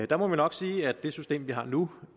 der må vi nok sige at det system man har nu